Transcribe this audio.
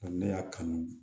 Ne y'a kanu